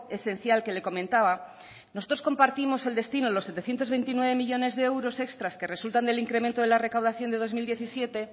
esencial que le comentaba nosotros compartimos el destino los setecientos veintinueve millónes de euros extras que resultan del incremento de la recaudación de dos mil diecisiete